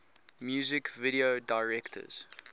music video directors